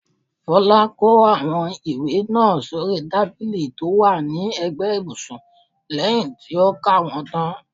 Folá kó àwọn ìwé náà sóri tábìlì tó wà ní ẹ̀gbẹ́ ibùsùn lẹyìn tí ó ka wọ́n tán.